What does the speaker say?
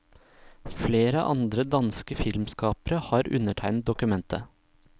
Flere andre danske filmskapere har undertegnet dokumentet.